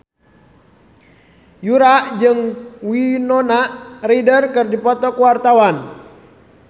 Yura jeung Winona Ryder keur dipoto ku wartawan